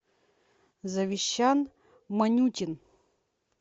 завещан манютин